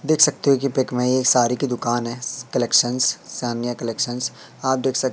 देख सकते हो की पिक में ये साड़ी की दुकान है कलेक्शन सानिया कलेक्शंस आप देख सक--